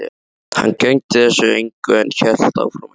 Hann gegndi þessu engu en hélt áfram að gelta.